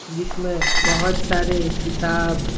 जिसमें बहुत सारे किताब --